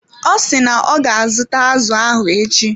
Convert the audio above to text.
Ọ si na ọ ga azụta azụ ahụ echi.